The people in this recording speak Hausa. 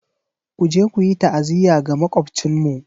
Ku je ku yi ta'aziyya ga Makwabcinmu!